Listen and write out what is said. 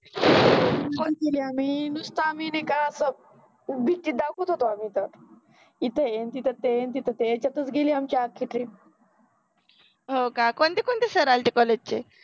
नुसता आम्हि नाइ का बघ भिति दाखवत होतो आम्हि तर, इथ यांचि तर यांच्यातच गेलि आमचि अख्खि ट्रिप हो का, कोणते कोणते सर आले होते कॉलेज चे